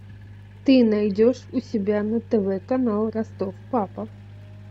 ты найдешь у себя на тв канал ростов папа